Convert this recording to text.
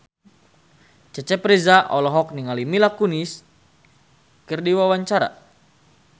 Cecep Reza olohok ningali Mila Kunis keur diwawancara